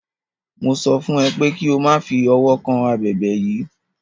Mo sọ fún é pè ki o ma fi ọwọ kan abèbè yìí.